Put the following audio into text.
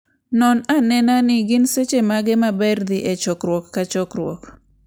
Non ane ni gin seche mage maber dhi e chokruok ka chokruok.